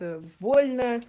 боль